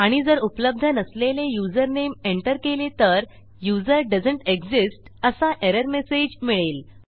आणि जर उपलब्ध नसलेले युजरनेम एंटर केले तर यूझर दोएसंत एक्सिस्ट असा एरर मेसेज मिळेल